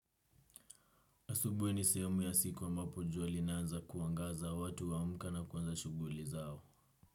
Asubuhi ni sehemu ya siku ambapo jua linaanza kuangaza watu huamka na kuanza shughuli zao.